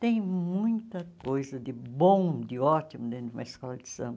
Tem muita coisa de bom, de ótimo dentro de uma escola de samba.